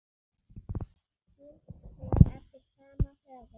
Skyld svör eftir sama höfund